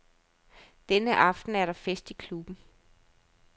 Denne aften er der fest i klubben.